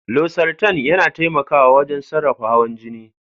Losartan yana taimakawa wajen sarrafa hawan jini.